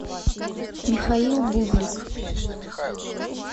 михаил бублик